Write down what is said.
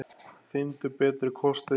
Finndu betri kosti!